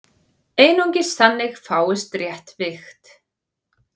Einungis þannig fáist rétt vigt.